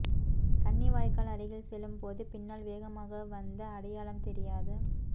கன்னி வாய்க்கால் அருகில் செல்லும் போது பின்னால் வேகமாக வந்த அடையாளம் தெரியாத